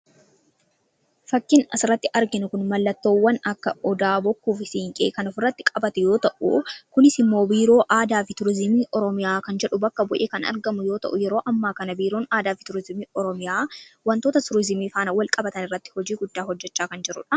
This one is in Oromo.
Fakkiin asirratti arginu Kun, mallattoowwan akka odaa, bokkuu fi siinqee kan ofirratti qabate yoo ta'u, kunis immoo biiroo aadaa fi turizimii Oromiyaa kan jedhu bakka bu'ee kan argamu yoo ta'u, yeroo ammaa kana biiroon aadaa fi turizimii Oromiyaa waantota turizimii faana wal qabatan irratti hojii guddaa kan hojjechaa jiruudha.